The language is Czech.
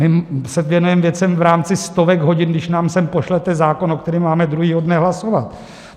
My se věnujeme věcem v rámci stovek hodin, když nám sem pošlete zákon, o kterém máme druhého dne hlasovat.